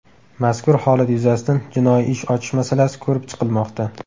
Mazkur holat yuzasidan jinoiy ish ochish masalasi ko‘rib chiqilmoqda.